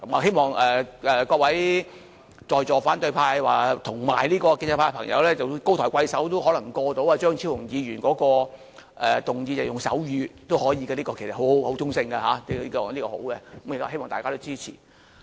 希望各位在坐反對派及建制派的朋友高抬貴手，讓張超雄議員的議案獲得通過，即是可以使用手語，這項建議其實是很中性和是好的，希望大家都支持。